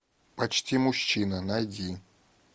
почти мужчина найди